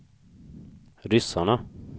ryssarna